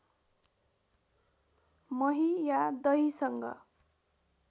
मही या दहीसँग